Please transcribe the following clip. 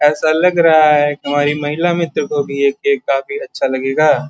ऐसा लग रहा है हमारी महिला मित्र को भी ये केक काफी अच्छा लगेगा।